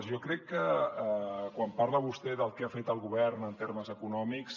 jo crec que quan parla vostè del que ha fet el govern en termes econòmics